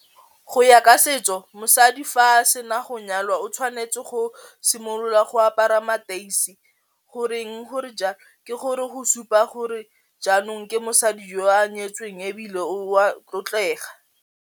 Go ya ka setso mosadi fa sena go nyalwa o tshwanetse go simolola go apara mateisi, goreng gore ke gore go supa gore jaanong ke mosadi jo a nyetsweng ebile o a tlotlega.